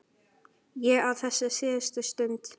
Ég á þessa síðustu stund.